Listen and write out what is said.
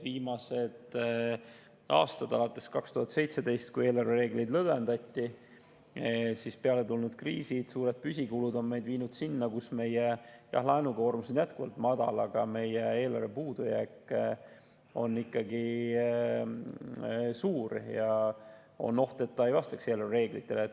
Viimastel aastatel – alates 2017, kui eelarvereegleid lõdvendati – peale tulnud kriisid ja suured püsikulud on meid viinud sinna, kus meie laenukoormus on jätkuvalt madal, aga meie eelarvepuudujääk on ikkagi suur, ja on oht, et ta ei vastaks eelarvereeglitele.